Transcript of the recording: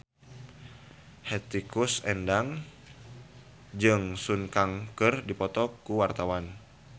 Hetty Koes Endang jeung Sun Kang keur dipoto ku wartawan